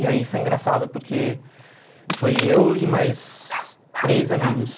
E aí foi engraçado, porque foi eu e mais três amigos.